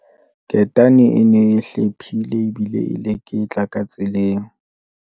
ketane e ne e hlephile ebile e leketla ka tseleng